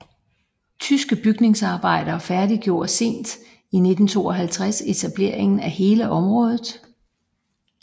Tyske bygningsarbejdere færdiggjorde sent i 1952 etableringen af hele området